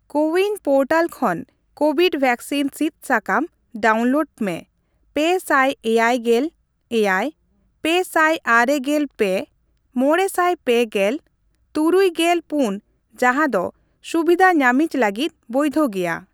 CoWIN portal ᱠᱷᱚᱱ COVID vaccine ᱥᱤᱫ ᱥᱟᱠᱟᱢ ᱰᱟᱣᱩᱱᱞᱳᱰ ᱢᱮ ᱯᱮ ᱥᱟᱭ ᱮᱭᱟᱭ ᱜᱮᱞ ᱮᱭᱟᱭ, ᱯᱮ ᱥᱟᱭ ᱟᱨᱮ ᱜᱮᱞ ᱯᱮ, ᱢᱚᱬᱮ ᱥᱟᱭ ᱯᱮ ᱜᱮᱞ, ᱛᱩᱨᱩᱭ ᱜᱮᱞ ᱯᱩᱱ ᱡᱟᱸᱦᱟ ᱫᱚ ᱥᱩᱵᱤᱫᱟ ᱧᱟᱢᱤᱡ ᱞᱟᱹᱜᱤᱫ ᱵᱚᱭᱫᱷᱚ ᱜᱮᱭᱟ ᱾